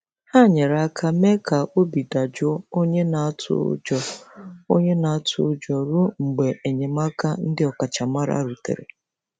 Ha nyere aka mee ka obi dajụọ onye na-atụ ụjọ onye na-atụ ụjọ ruo mgbe enyemaka ndị ọkachamara rutere.